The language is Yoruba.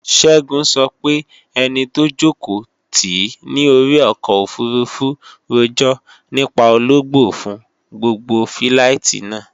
Ṣẹ́gun sọ pé ẹni tó jòkó tìí ní orí ọkọ̀ òfurufú rojọ́ nípa ológbò fún gbogbo fíláìtí náà